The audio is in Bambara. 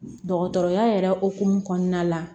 Dɔgɔtɔrɔya yɛrɛ hokumu kɔnɔna la